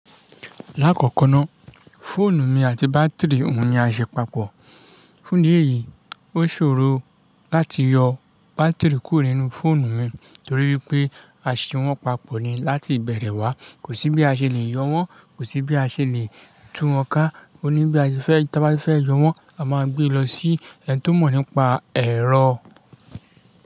Lákọ̀ọ̀kan náá, fóònù mi àti bátirí òun ní a ṣe papọ̀. Fún ìdí èyí, ó ṣòro láti yọ bátirí kúrò nínú fóònù mi torí wípé a ṣe wọ́n papọ̀ ni láti ìbẹ̀rẹ̀ wá. Kò sí bí a ṣe le yọ wọ́n, kò sí bí a ṣe le tún wọ́n ká. Ó ní bí a ṣe fẹ́ tí a bá ti fẹ́ yọ wọ́n, a máa gbé e lọ sí ẹni tó mọ̀ nípa ẹ̀rọ.